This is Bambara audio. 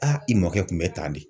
i mɔkɛ kun bɛ tan de